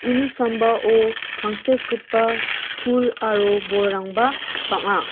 uni sambao tangsekgipa pul aro bolrangba bang·a.